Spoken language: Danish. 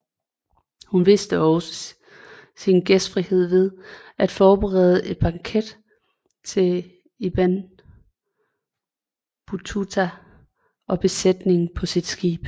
Hun viste også sin gæstfrihed ved at forberede en banket til Ibn Battuta og besætningen på sit skib